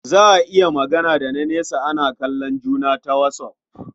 Za a iya yin magana da na nesa ana kallon juna ta WhatsApp.